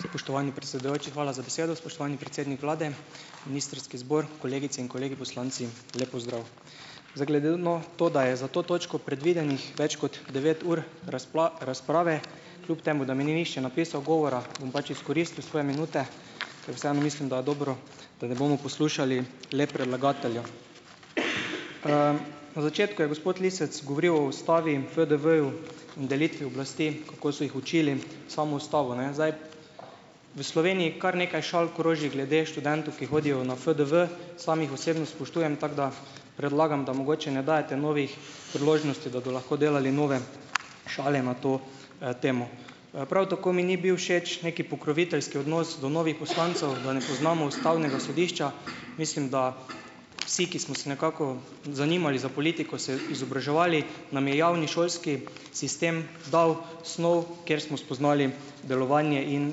Spoštovani predsedujoči, hvala za besedo. Spoštovani predsednik vlade, ministrski zbor, kolegice in kolegi poslanci, lep pozdrav. Zdaj, glede no to, da je za to točko predvidenih več kot devet ur razprave, kljub temu da mi ni nihče napisal govora, bom pač izkoristil svoje minute, ker vseeno mislim, da je dobro, da ne bomo poslušali le predlagatelja. Na začetku je gospod Lisec govoril o Ustavi in FDV-ju in delitvi oblasti, kako so jih učili samo Ustavo, ne. Zdaj, v Sloveniji kar nekaj šal kroži glede študentov, ki hodijo na FDV, samo jih osebno spoštujem, tako da predlagam, da mogoče ne dajete novih priložnosti, da bodo lahko delali nove šale na to temo. Prav tako mi ni bil všeč neki pokroviteljski odnos do novih poslancev, da ne poznamo Ustavnega sodišča. Mislim, da vsi, ki smo si nekako zanimali za politiko, se izobraževali, nam je javni šolski sistem dal snov, kjer smo spoznali delovanje in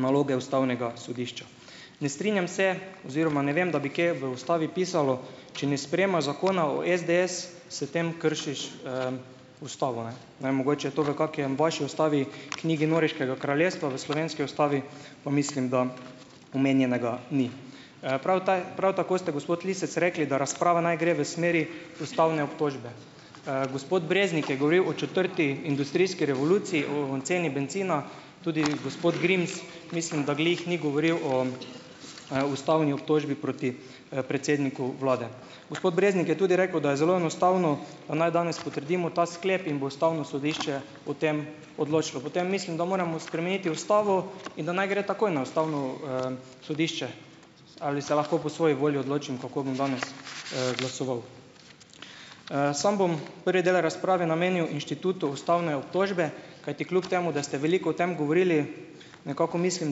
naloge Ustavnega sodišča. Ne strinjam se oziroma ne vem, da bi kje v Ustavi pisalo, če ne sprejemaš zakona o SDS, s tem kršiš Ustavo, ne. Ne vem, mogoče je to v kaki vaši Ustavi, knjigi Norveškega kraljestva, v slovenski Ustavi pa mislim, da omenjenega ni. Prav prav tako ste, gospod Lisec, rekli, da razprava naj gre v smeri Ustavne obtožbe. Gospod Breznik je govoril o četrti industrijski revoluciji, o ceni bencina. Tudi gospod Grims, mislim, da glih ni govoril o Ustavni obtožbi proti predsedniku vlade. Gospod Breznik je tudi rekel, da je zelo enostavno, da naj danes potrdimo ta sklep in bo Ustavno sodišče o tem odločilo. Potem mislim, da moramo spremeniti Ustavo in da naj gre takoj na Ustavno sodišče. Ali se lahko po svoji volji odločim, kako bom danes glasoval? Samo bom prvi del razprave namenil inštitutu Ustavne obtožbe, kajti kljub temu da ste veliko o tem govorili, nekako mislim,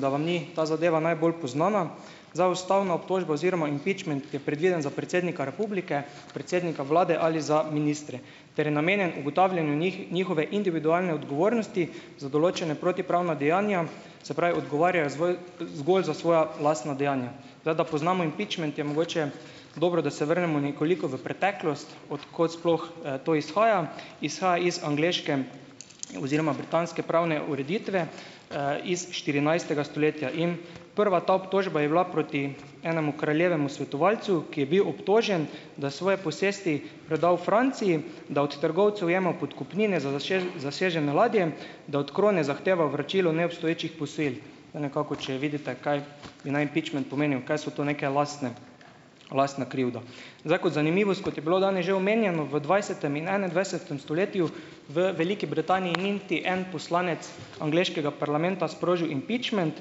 da vam ni ta zadeva najbolj poznana - za Ustavno obtožbo oziroma "impeachment", ki je predviden za predsednika Republike, predsednika vlade ali za ministre ter je namenjen ugotavljanju njihove individualne odgovornosti za določena protipravna dejanja, se pravi, odgovarjajo zgolj zgolj za svoja lastna dejanja. Zdaj, da poznamo "impeachment", je mogoče dobro, da se vrnemo nekoliko v preteklost. Od kod sploh to izhaja? Izhaja iz angleške oziroma britanske pravne ureditve, iz štirinajstega stoletja. In, prva ta obtožba je bila proti enemu kraljevemu svetovalcu, ki je bil obtožen, da svoji posestvi predal Franciji, da od trgovcev ima podkupnine za zasežene ladje, da od krone zahteva vračilo neobstoječih posojil, da nekako, če vidite, kaj bi naj "impeachment" pomenil, kaj so to neke lastne lastna krivda. Zdaj kot zanimivost, kot je bilo danes že omenjeno, v dvajsetem in enaindvajsetem stoletju v Veliki Britaniji ni niti en poslanec angleškega parlamenta sprožil "impeachment",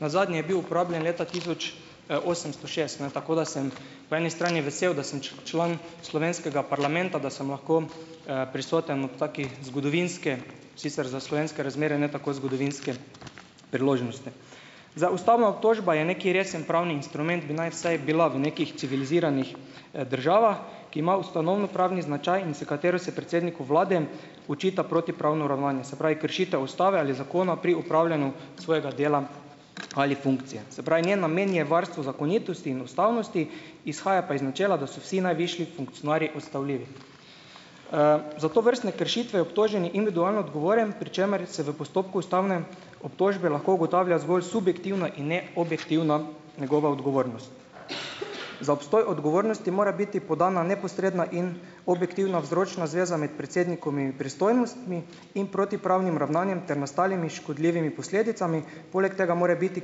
nazadnje je bil uporabljen leta tisoč osemsto šest, ne, tako da sem po eni strani vesel, da sem član slovenskega parlamenta, da sem lahko prisoten ob taki zgodovinski, sicer za slovenske razmere ne tako zgodovinski priložnosti. Zdaj ustavna obtožba je neki resen pravni instrument, bi naj vsaj bila v nekih civiliziranih državah, ki ima ustanovno pravni značaj in s katero se predsedniku vlade očita protipravno ravnanje, se pravi, kršitev ustave ali zakona pri opravljanju svojega dela ali funkcije. Se pravi, njen namen je varstvo zakonitosti in ustavnosti, izhaja pa iz načela, da so vsi najvišji funkcionarji odstavljivi. Za tovrstne kršitve je obtoženi individualno odgovoren, pri čemer je se v postopku ustavne obtožbe lahko ugotavlja zgolj subjektivna in ne objektivna njegova odgovornost. Za obstoj odgovornosti mora biti podana neposredna in objektivna vzročna zveza med predsednikovimi pristojnostmi in protipravnim ravnanjem ter nastalimi škodljivimi posledicami. Poleg tega mora biti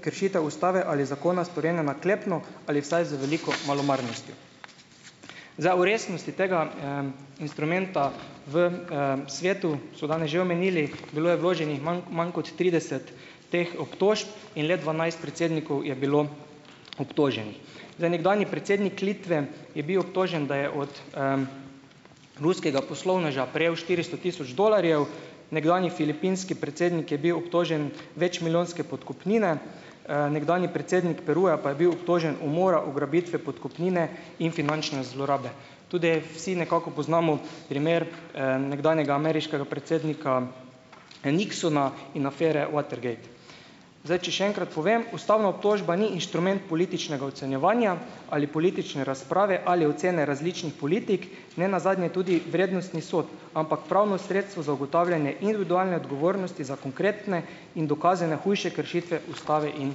kršitev ustave ali zakona storjena naklepno ali vsaj z veliko malomarnostjo. Zdaj v resnosti tega instrumenta v svetu so danes že omenili, bilo je vloženih manj kot trideset teh obtožb in le dvanajst predsednikov je bilo obtoženih. Zdaj nekdanji predsednik Litve, je bil obtožen, da je od ruskega poslovneža prejel štiristo tisoč dolarjev, nekdanji filipinski predsednik je bil obtožen večmilijonske podkupnine, nekdanji predsednik Peruja pa je bil obtožen umora, ugrabitve, podkupnine in finančne zlorabe. Tudi vsi nekako poznamo primer nekdanjega ameriškega predsednika Nixona in afere Watergate. Zdaj, če še enkrat povem, ustavna obtožba ni inštrument političnega ocenjevanja ali politične razprave ali ocene različnih politik. Ne nazadnje tudi vrednostnih sodb, ampak pravno sredstvo za ugotavljanje individualne odgovornosti za konkretne in dokazane hujše kršitve Ustave in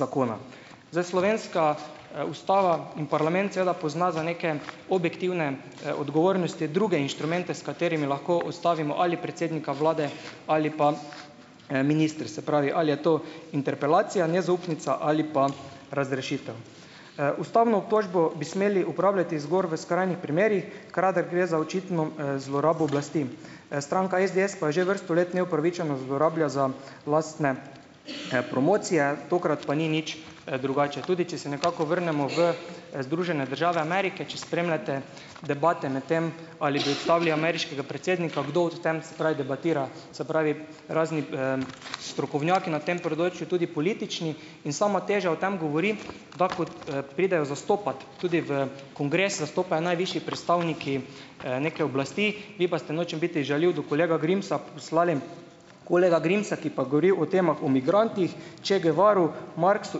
zakona. Zdaj slovenska Ustava in parlament seveda pozna za neke objektivne odgovornosti druge inštrumente, s katerimi lahko ustavimo ali predsednika vlade ali pa minister. Se pravi, ali je to interpelacija, nezaupnica ali pa razrešitev. Ustavno obtožbo bi smeli uporabljati zgoraj v skrajnih primerih, kadar gre za očitno zlorabo oblasti, stranka SDS pa jo že vrsto let neupravičeno zlorablja za lastne promocije, tokrat pa ni nič drugače, tudi če se nekako vrnemo v Združene države Amerike, če spremljate debate medtem, ali bi odstavili ameriškega predsednika, kdo o tem se pravi debatira, se pravi, razni strokovnjaki na tem področju, tudi politični in sama teža o tem govori, da ko pridejo zastopat tudi v kongres zastopajo najvišji predstavniki neke oblasti, vi pa ste, nočem biti žaljiv do kolega Grimsa, poslali kolega Grimsa, ki pa govori o temah, o migrantih, Che Guevaru, Marxu,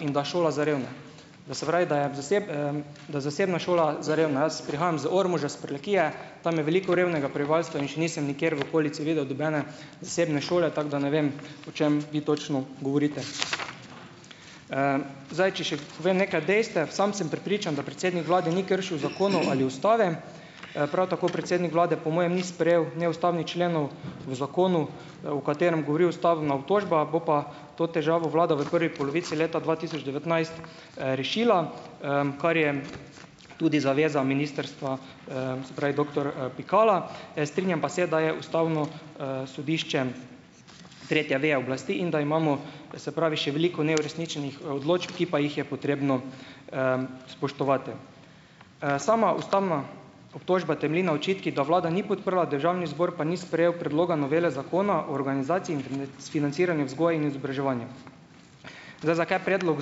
in da šola za revne. To se pravi, da je v da zasebna šola za revne. Jaz prihajam iz Ormoža, iz Prlekije, tam je veliko revnega prebivalstva in še nisem nikjer v okolici videl nobene zasebne šole, tako da ne vem, o čem vi točno govorite. Zdaj, če še povem nekaj dejstev. Sam sem prepričan, da predsednik vlade ni kršil zakonov ali ustave. Prav tako predsednik vlade po mojem ni sprejel neustavnih členov v zakonu, o katerem govori ustavna obtožba, bo pa to težavo vlada v prvi polovici leta dva tisoč devetnajst rešila, kar je tudi zaveza ministrstva, se pravi, doktor Pikala. Strinjam pa se, da je Ustavno sodišče tretja veja oblasti in da imamo, to se pravi, še veliko neuresničenih odločb, ki pa jih je potrebno spoštovati. Sama ustavna obtožba temelji na očitkih, da vlada ni podprla, Državni zbor pa ni sprejel predloga novele zakona o organizaciji in financiranju vzgoje in izobraževanja. Zdaj, zakaj predlog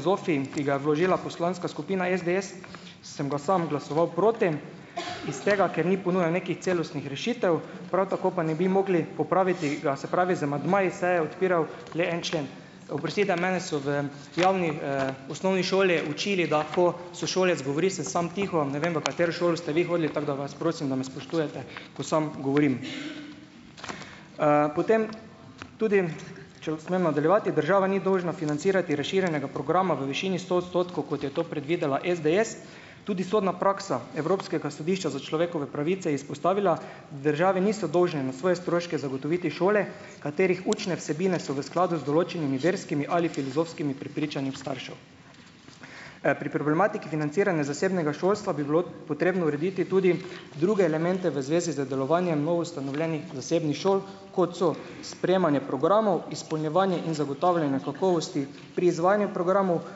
ZOFI, ki ga je vložila Poslanska skupina SDS, sem ga sam glasoval proti, iz tega, ker ni ponujal nekih celostnih rešitev, prav tako pa ne bi mogli popraviti ga, se pravi, z amandmaji se je odpiral le en člen. Oprostite, mene so v javni osnovni šoli učili, da ko sošolec govori, sem sam tiho. Ne vem, v katero šolo ste vi hodili, tako da vas prosim, da me spoštujete, ko sam govorim. Potem tudi, če smem nadaljevati, država ni dolžna financirati razširjenega programa v višini sto odstotkov, kot je to predvidela SDS. Tudi sodna praksa Evropskega sodišča za človekove pravice je izpostavila, da države niso dolžne na svoje stroške zagotoviti šole, katerih učne vsebine so v skladu z določenimi verskimi ali filozofskimi prepričanji staršev. Pri problematiki financiranja zasebnega šolstva bi bilo potrebno urediti tudi druge elemente v zvezi z delovanjem novoustanovljenih zasebnih šol, kot so sprejemanje programov, izpolnjevanje in zagotavljanje kakovosti pri izvajanju programov,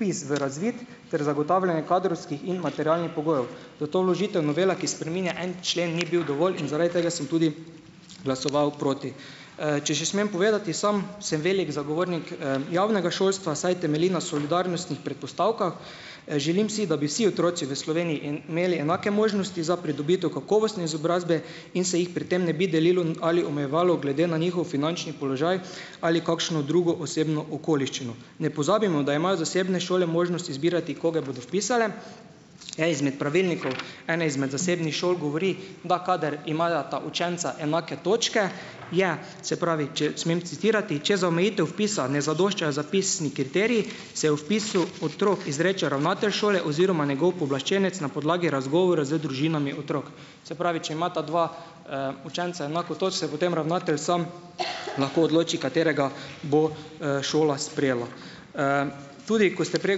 vpis v razvid ter zagotavljanje kadrovskih in materialnih pogojev. Zato vložitev novele, ki spreminja en člen, ni bil dovolj, in zaradi tega sem tudi glasoval proti. Če še smem povedati, sam sem velik zagovornik javnega šolstva, saj temelji na solidarnostnih predpostavkah. Želim si, da bi vsi otroci v Sloveniji in imeli enake možnosti za pridobitev kakovostne izobrazbe in se jih pri tem ne bi delilo ali omejevalo glede na njihov finančni položaj ali kakšno drugo osebno okoliščino. Ne pozabimo, da imajo zasebne šole možnost izbirati, koga bodo vpisale. Eden izmed pravilnikov ene izmed zasebnih šol govori, da kadar imata učenca enake točke je, se pravi, če smem citirati: "Če za omejitev vpisa ne zadoščajo vpisni kriteriji, se o vpisu otrok izreče ravnatelj šole oziroma njegov pooblaščenec na podlagi razgovora z družinami otrok." Se pravi, če imata dva učenca enako točk, se potem ravnatelj sam lahko odloči, katerega bo šola sprejela. Tudi ko ste prej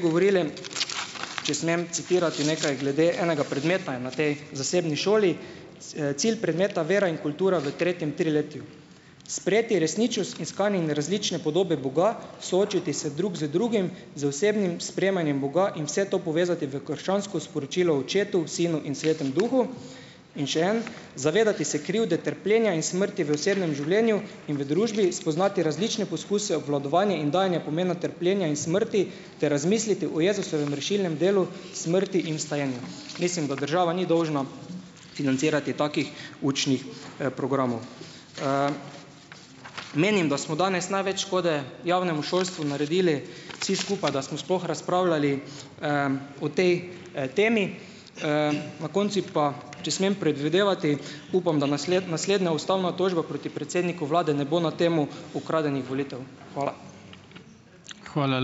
govorili, če smem citirati nekaj glede enega predmeta in na tej zasebni šoli: "Cilj predmeta vera in kultura v tretjem triletju: sprejeti resničnost iskanja in različne podobe Boga, soočiti se drug z drugim, z osebnim sprejemanjem Boga in vse to povezati v krščansko sporočilo očetu, sinu in svetemu duhu." In še en: "Zavedati se krivde, trpljenja in smrti v osebnem življenju in v družbi, spoznati različne poskuse obvladovanja in dajanja pomena trpljenja in smrti ter razmisliti o Jezusovem rešilnem delu, smrti in vstajenju." Mislim, da država ni dolžna financirati takih učnih programov. Menim, da smo danes največ škode javnemu šolstvu naredili vsi skupaj, da smo sploh razpravljali o tej temi. Na koncu pa, če smem predvidevati, upam, da naslednja ustavna obtožba proti predsedniku vlade ne bo na temo ukradenih volitev. Hvala.